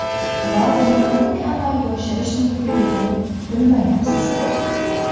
Va buni qanday amalga oshirish mumkinligini bilmayapsizmi?